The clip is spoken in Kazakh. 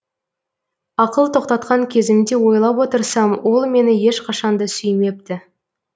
ақыл тоқтатқан кезімде ойлап отырсам ол мені ешқашанда сүймепті